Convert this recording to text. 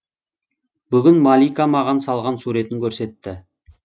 бүгін малика маған салған суретін көрсетті